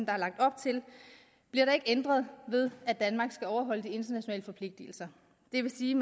er lagt op til bliver der ikke ændret ved at danmark skal overholde de internationale forpligtelser det vil sige